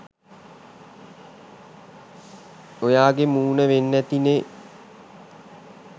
ඔයාගේ මූන වෙන්න ඇති නේ?